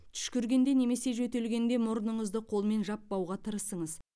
түшкіргенде немесе жөтелгенде мұрныңызды қолмен жаппауға тырысыңыз